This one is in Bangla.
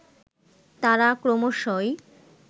তারা ক্রমশই